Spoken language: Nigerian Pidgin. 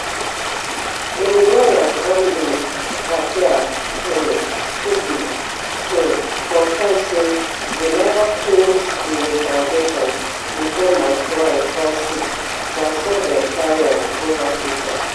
im lawyer andy appiah um kubi um confam say we neva finish di interrogation bifor my client fall sick na so dem carry am go hospital